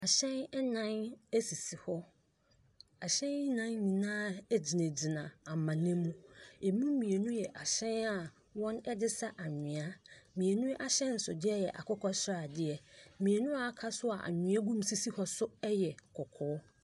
Ahyɛn nnan sisi hɔ. Ahyɛn nnan yi nyinaa gyinagyina amena mu. Ɛmu mmienu yɛ ahyɛn a wɔde sa anwea. Mmienu ahyɛnsodeɛ yɛ akokɔ sradeɛ. Mmienu a aka nso a anwea gugu mu sisi hɔ nso yɛ kɔkɔɔ.